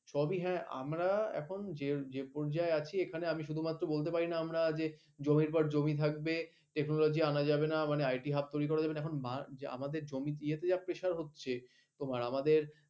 সবই হ্যা আমরা এখন যে যে পর্যায়ে আছি আমি শুধুমাত্র বলতে পার না জমির পাড় জমি থাকবে টেকনোলজি আনা যাবে না আইটি হাব তরি করা যাবে না আমাদের জমি দিয়ে যা প্রেসার হচ্ছে এবং আমাদের